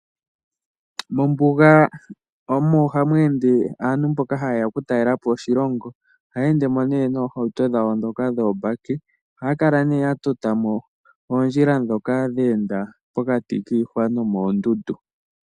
Mombuga omo hamu ende aantu mboka ta yeya okutalela po oshilongo. Ohaya endemo nee noohauto dhaeo ndhoka dhoobaki, ohaa kala nee ya tota po oondjila ndhoka dheenda pokati kiihwa noondundu.